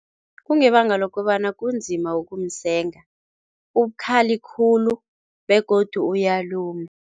Kungebanga lokobana kunzima ukumsenga, ubukhazi khulu begodu uyaluma.